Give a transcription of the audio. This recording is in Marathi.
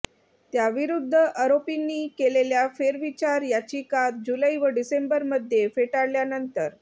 त्याविरुद्ध अरोपींनी केलेल्या फेरविचार याचिका जुलै व डिसेंबरमध्ये फेटाळल्यानंतर